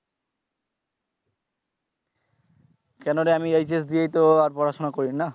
কেন রে আমি দিয়েই তো আর পড়াশুনা করিনা।